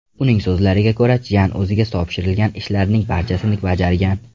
Uning so‘zlariga ko‘ra, Chjan o‘ziga topshirilgan ishlarning barchasini bajargan.